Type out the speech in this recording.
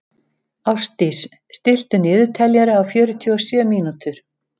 Ástdís, stilltu niðurteljara á fjörutíu og sjö mínútur.